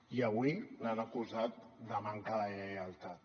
i avui l’han acusat de manca de lleialtat